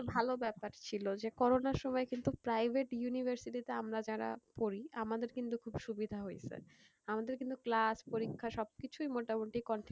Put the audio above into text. ভালো ব্যাপার ছিল যে করোনার সময় কিন্তু private university তে আমরা যারা পড়ি আমাদের কিন্তু খুব সুবিধা হয়েছে, আমাদের কিন্তু class পরীক্ষা সবকিছুই মোটামুটি continue,